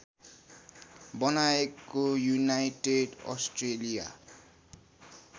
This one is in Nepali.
बनाएको युनाइटेड अस्ट्रेलिया